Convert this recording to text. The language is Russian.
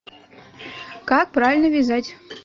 как правильно вязать